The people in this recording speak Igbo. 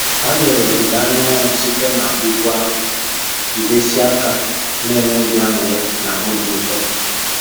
Ha lere ọdịda anyanwụ site na úgwú ahụ, jidesie aka na enwe obi añụrị na obi ụtọ